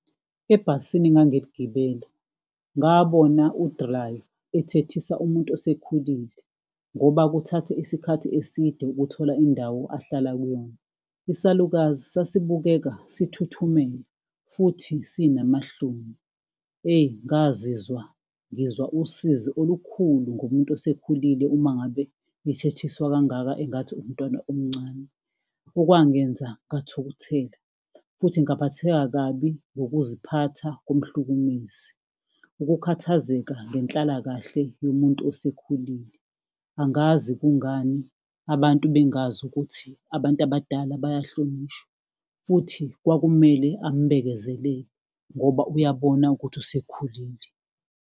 Ebhasini engangiligibele, ngabona u-driver ethethisa umuntu osekhulile, ngoba kuthatha isikhathi eside ukuthola indawo ahlala kuyona. Isalukazi sasibukeka sithuthumela futhi sinamahloni. Eyi, ngazizwa ngizwa usizi olukhulu ngomuntu osekhulile, uma ngabe ethethiswa kangaka engathi umntwana omncane, okwangenza ngathukuthela futhi ngaphatheka kabi ngokuziphatha komhlukumezi. Ukukhathazeka ngenhlalakahle yomuntu osekhulile, angazi kungani abantu bengazi ukuthi abantu abadala bayahlonishwa, futhi kwakumele ambekezelele ngoba uyabona ukuthi usekhulile.